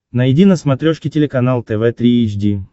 найди на смотрешке телеканал тв три эйч ди